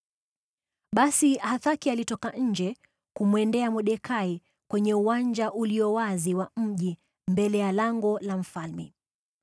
Basi Hathaki alitoka nje kumwendea Mordekai kwenye uwanja ulio wazi wa mji mbele ya lango la mfalme.